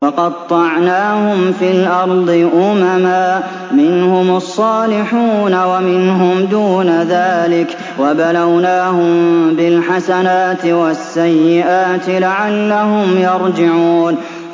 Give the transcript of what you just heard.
وَقَطَّعْنَاهُمْ فِي الْأَرْضِ أُمَمًا ۖ مِّنْهُمُ الصَّالِحُونَ وَمِنْهُمْ دُونَ ذَٰلِكَ ۖ وَبَلَوْنَاهُم بِالْحَسَنَاتِ وَالسَّيِّئَاتِ لَعَلَّهُمْ يَرْجِعُونَ